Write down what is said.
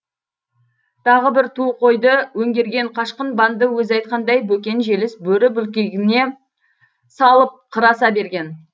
тағы бір ту қойды өңгерген қашқын банды өзі айтқандай бөкен желіс бөрі бүлкегіне салып қыр аса берген